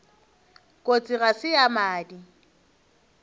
kotsi ga se ya madi